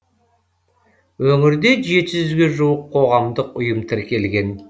өңірде жеті жүзге жуық қоғамдық ұйым тіркелген